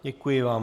Děkuji vám.